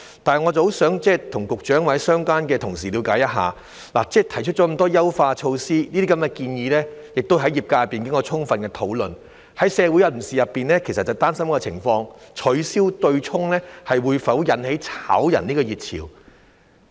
但是，我很想跟局長或相關的同事了解一下，提出了那麼多優化措施，這些建議亦在業界經過充分討論，部分社會人士其實擔心一個情況，就是取消對沖會否引起"炒人"熱潮？